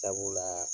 Sabula